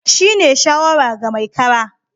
Shi ne shawara ga mai kara